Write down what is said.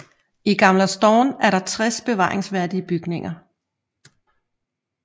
I Gamla stan er der tres bevaringsværdige bygninger